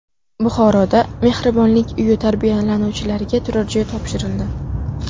Buxoroda mehribonlik uyi tarbiyalanuvchilariga turarjoy topshirildi.